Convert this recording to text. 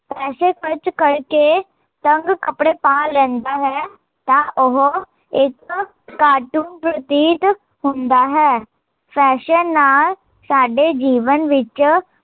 ਪੈਸੇ ਖਰਚ ਕਰਕੇ ਤੰਗ ਕੱਪੜੇ ਪਾ ਲੈਂਦਾ ਹੈ ਤਾਂ ਉਹ, ਇੱਕ ਪ੍ਰਤੀਤ ਹੁੰਦਾ ਹੈ ਫੈਸ਼ਨ ਨਾਲ਼ ਸਾਡੇ ਜੀਵਨ ਵਿੱਚ